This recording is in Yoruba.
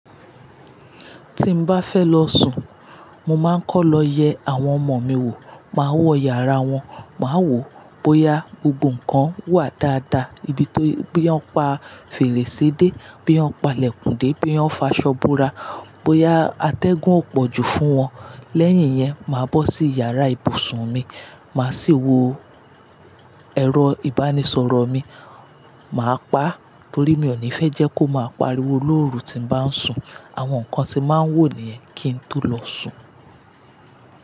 Tí mo bá fẹ́ lọ sùn, mo máa ń kọ́ lọ yẹ àwọn ọmọ mi wò, máa wọ yàrá wọn, máa wò bóyá gbogbo nǹkan wà dáadáa ibi tó bóya wọ́n pa fèrèsé dé, bóya wọ́n palẹ̀kùndé, bóya wọ́n faṣọ́ bùra, bóyá atẹ́gùn ò pọ̀jù fún wọn. Lẹ́yìn yẹn, màá bọ́ sí yàrá ibùsùn mi, màá sì wo ẹ̀rọ-ìbánisọ̀rọ̀ mi, màá pa á torí mi ò ní fẹ́ jẹ́ kó máa pariwo lóru tí mo bá ń sùn. Àwọn nǹkan tí màá ń wò nìyẹn kí n tó lọ sùn.